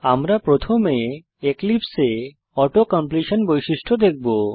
আমরা প্রথমে এক্লিপসে এ অটো কমপ্লিশন বৈশিষ্ট্য দেখব